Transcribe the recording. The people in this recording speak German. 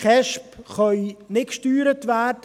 KESB können nicht gesteuert werden.